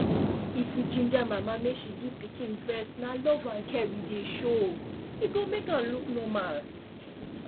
if we ginger mama make she give pikin breastna love and care we dey show e go make am look normal